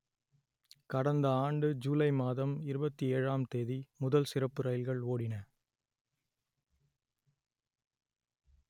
கடந்த ஆண்டு ஜுலை மாதம் இருபத்தி ஏழாம் தேதி முதல் சிறப்பு ரயில்கள் ஓடின